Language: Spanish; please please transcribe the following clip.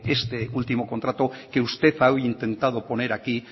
este último contrato que usted ha intentado poner aquí